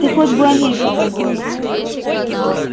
ты хоть бы о ней подумал